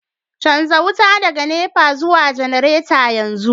canza wuta daga NEPA zuwa janareta yanzu